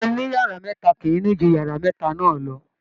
ilé oniyara meta kìí ni ju yara meta náà lọ.